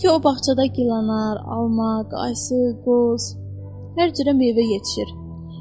Hansı ki, o bağçada gilanar, alma, ayva, ərik, qoz, hər cürə meyvə yetişir.